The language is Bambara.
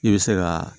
I bɛ se ka